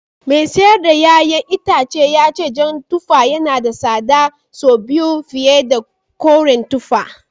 Mai sayar da ’ya’yan itacen ya ce jan tuffa yana da tsada sau biyu fiye da koren tuffa